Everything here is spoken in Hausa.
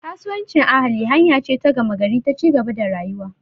Kasuwancin ahali hanya ce ta gama gari ta ci gaba da rayuwa.